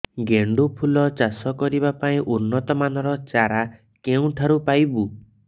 ଗେଣ୍ଡୁ ଫୁଲ ଚାଷ କରିବା ପାଇଁ ଉନ୍ନତ ମାନର ଚାରା କେଉଁଠାରୁ ପାଇବୁ